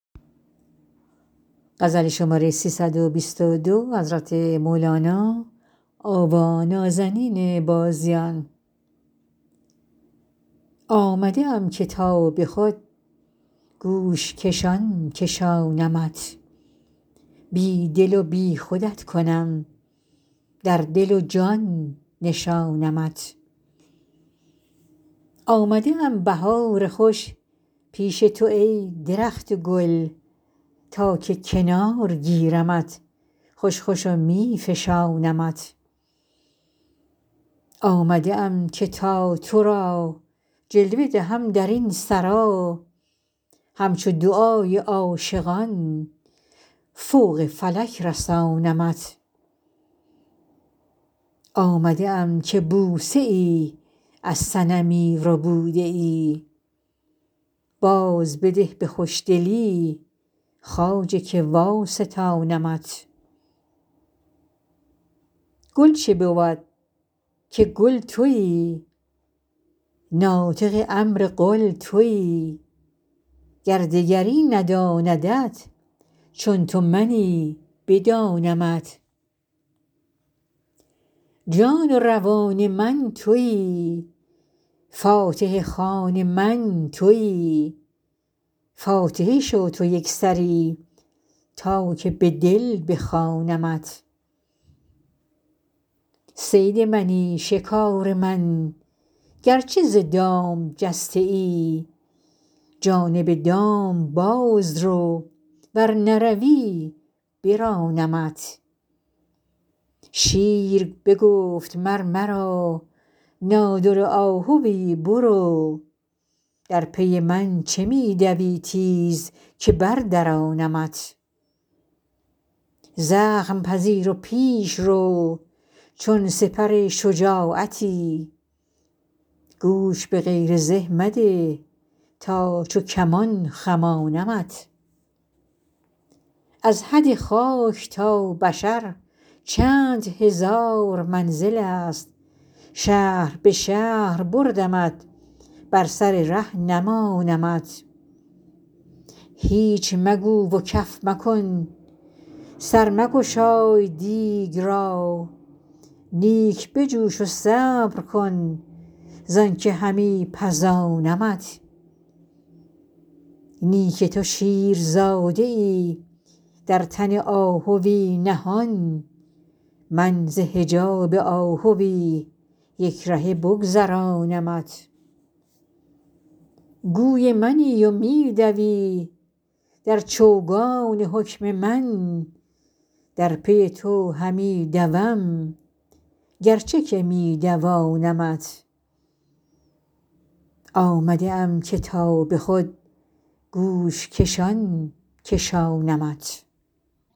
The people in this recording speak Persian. آمده ام که تا به خود گوش کشان کشانمت بی دل و بی خودت کنم در دل و جان نشانمت آمده ام بهار خوش پیش تو ای درخت گل تا که کنار گیرمت خوش خوش و می فشانمت آمده ام که تا تو را جلوه دهم در این سرا همچو دعای عاشقان فوق فلک رسانمت آمده ام که بوسه ای از صنمی ربوده ای بازبده به خوشدلی خواجه که واستانمت گل چه بود که کل تویی ناطق امر قل تویی گر دگری نداندت چون تو منی بدانمت جان و روان من تویی فاتحه خوان من تویی فاتحه شو تو یک سری تا که به دل بخوانمت صید منی شکار من گرچه ز دام جسته ای جانب دام باز رو ور نروی برانمت شیر بگفت مر مرا نادره آهوی برو در پی من چه می دوی تیز که بردرانمت زخم پذیر و پیش رو چون سپر شجاعتی گوش به غیر زه مده تا چو کمان خمانمت از حد خاک تا بشر چند هزار منزلست شهر به شهر بردمت بر سر ره نمانمت هیچ مگو و کف مکن سر مگشای دیگ را نیک بجوش و صبر کن زانک همی پزانمت نی که تو شیرزاده ای در تن آهوی نهان من ز حجاب آهوی یک رهه بگذرانمت گوی منی و می دوی در چوگان حکم من در پی تو همی دوم گرچه که می دوانمت